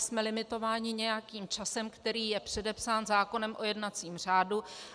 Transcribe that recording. Jsme limitováni nějakým časem, který je předepsán zákonem o jednacím řádu.